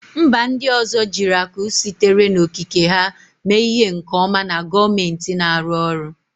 Mba ndị ọzọ jiri akụ sitere n'okike ha mee ihe nke ọma na gọọmentị na-arụ ọrụ